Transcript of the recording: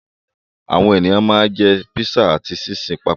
Àwọn ènìyàn ma ń jẹ́ písà ati síìsì papọ̀